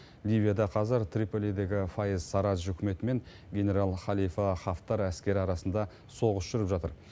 ливияда қазір триполидегі фаиз сарадж үкіметі мен генерал халифа хафтар әскері арасында соғыс жүріп жатыр